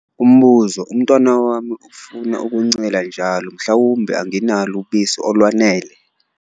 Umbuzo- Umntwana wami ufuna ukuncela njalo mhlawumbe anginalo ubisi olwanele?